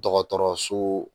Dɔgɔtɔrɔso